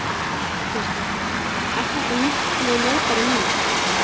Kristján: Er þetta miklu ljótari mynd?